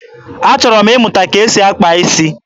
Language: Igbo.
Achọrọ m ịmụta etu esi akpa isi.